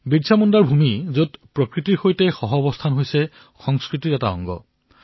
বিৰছা মুণ্ডাৰ ভূমি যত প্ৰকৃতিৰ সৈতে সহৱস্থান কৰাটো সংস্কৃতিৰ এক অংশ